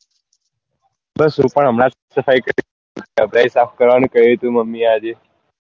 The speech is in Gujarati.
બસ હું પણ હમણાં જ સફાઈ કરી અભડાઈ સાફ કરવા નું કહ્યું તું મમ્મી એ આજે